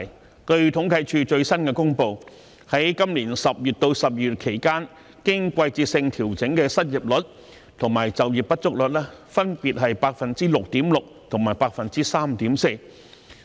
根據政府統計處最新公布，在去年10月至12月期間，經季節性調整的失業率及就業不足率分別是 6.6% 及 3.4%。